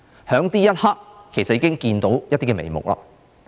在這一刻，其實已經看到一些眉目。